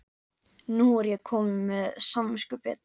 Nú er ég komin með samviskubit.